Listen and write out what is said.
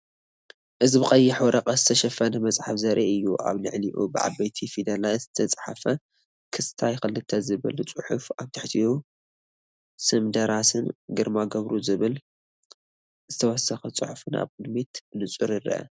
እዚ ብቀይሕ ወረቐት ዝተሸፈነ መጽሓፍ ዘርኢ እዩ። ኣብ ልዕሊኡ ብዓበይቲ ፊደላት ዝተጻሕፈ 'ክስታይ 2' ዝብል ጽሑፍ፤ ኣብ ትሕቲ ስም ደራስን 'ግርማይ ገብሩ' ዝብል ዝተወሰኸ ጽሑፍን ኣብ ቅድሚት ብንጹር ይርአ።